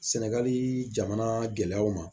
Sɛnɛgali jamana gɛlɛyaw ma